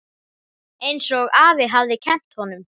Einsog afi hafði kennt honum.